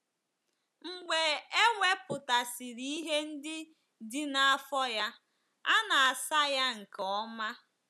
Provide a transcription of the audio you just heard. Mgbe e wepụtasịrị ihe ndị dị n’afọ ya, a na - asa ya nke ọma.